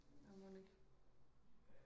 ja mon ikke